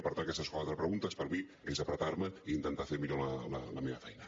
i per tant aquestes quatre preguntes per mi és apretar me i intentar fer millor la meva feina